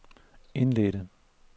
indledte